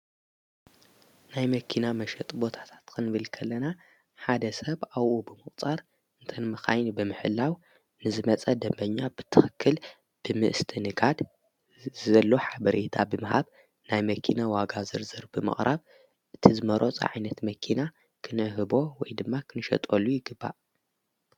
ናይ መኪና መሸጢ ቦታታት ክንብል ከለና ሓደ ሰብ ኣውኡ ብመቝጻር እንተ መኻይን ብምሕላው ንዝመፀ ደንበኛ ብትኽክል ብምስትእንጋድ ዘሎ ሓበሬታ ብምሃብ ናይ መኪና ዋጋ ዝርዝር ብምቕራብ እቲ ዝመረፆ ዓይነት መኪና ኽንህቦ ወይ ድማ ኽንሸጠሉ ይግባእ።